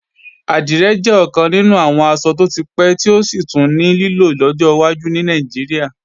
Àdìrẹ jẹ́ ọ̀kan nínú àwọn aṣọ tó ti pẹ́ tí ó sì tún ní lílò lọ́jọ́ wájú ní Nàìjíríà